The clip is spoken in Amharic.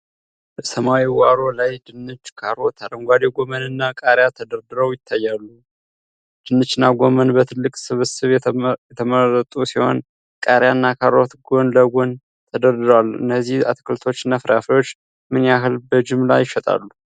በሰማያዊ ዋሮ ላይ ድንች፣ ካሮት፣ አረንጓዴ ጎመን እና ቃሪያ ተደርድረው ይታያሉ። ድንችና ጎመን በትልቅ ስብስብ የተቀመጡ ሲሆን፣ ቃሪያና ካሮት ጎን ለጎን ተደርድረዋል። እነዚህ አትክልቶችና ፍራፍሬዎች ምን ያህል በጅምላ ይሸጣሉ?